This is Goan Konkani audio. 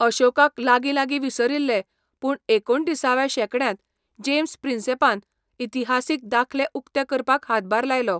अशोकाक लागींलागीं विसरिल्ले, पूण एकुणिसाव्या शेकड्यांत, जेम्स प्रिन्सॅपान इतिहासीक दाखले उक्ते करपाक हातभार लायलो.